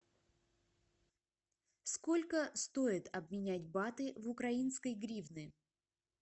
сколько стоит обменять баты в украинской гривны